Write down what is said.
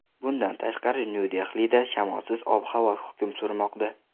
Bundan tashqari Nyu-Dehlida shamolsiz ob-havo hukm surmoqda.